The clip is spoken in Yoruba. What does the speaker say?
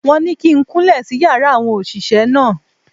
Wọ́n ní kí n kúnlẹ̀ sí yàrá àwọn òṣìṣẹ́ náà.